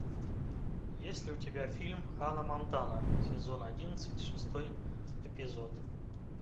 есть ли у тебя фильм ханна монтана сезон одиннадцать шестой эпизод